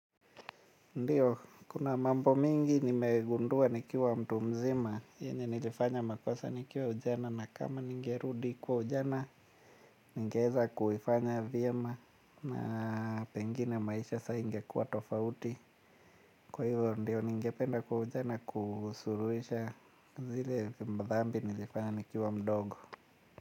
Ndiyo, kuna mambo mingi nimegundua nikiwa mtu mzima, yenye nilifanya makosa nikiwa ujana na kama nigerudi kwa ujana, ningeeza kuifanya vyema na pengine maisha sa ingekuwa tofauti. Kwa hivo, ndiyo, nigependa kwa ujana kusuruhisha zile thambi nilifanya nikiwa mdogo.